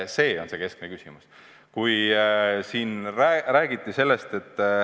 See on keskne küsimus.